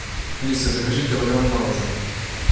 алиса закажи килограмм мороженого